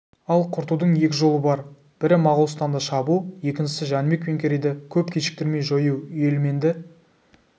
ал құртудың екі жолы бар бірі моғолстанды шабу екіншісі жәнібек пен керейді көп кешіктірмей жою үйелменді